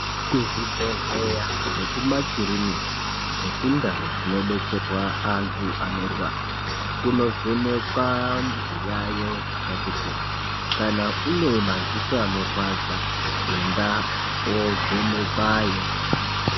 Kuzvibhedhleya nekumakirinika nekundau dzinodetserwa antu anorwara kunovhekwa zviyayo zvakati kuti kana une madziso anorwadza enda wovhenekwayo.